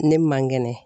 Ne man kɛnɛ